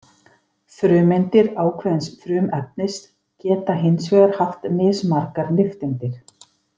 Frumeindir ákveðins frumefnis geta hins vegar haft mismargar nifteindir.